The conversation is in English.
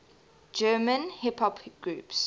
german hip hop groups